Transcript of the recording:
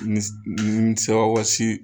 ninsi ninsawasi